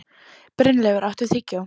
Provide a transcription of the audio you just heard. Brynleifur, áttu tyggjó?